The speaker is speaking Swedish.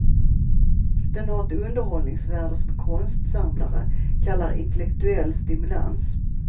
Den har ett underhållningsvärde som konstsamlare kallar intellektuell stimulans.